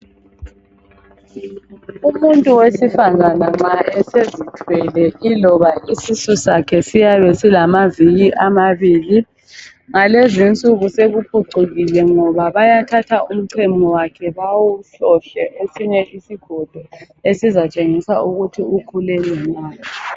Umuntu wesifazana nxa esezithwele iloba isisu sakhe siyabe silamaviki amabili ngalezinsuku sekuphucukile ngoba bayathatha umchemo wakhe bawuhlohle ekucineni kwesigodo esizatshengisa ukuthi ukhulelwe na.